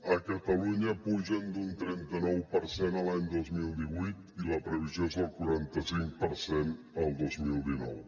a catalunya pugen d’un trenta nou per cent l’any dos mil divuit i la previsió és el quaranta cinc per cent el dos mil dinou